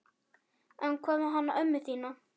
En hvað með hana ömmu þína?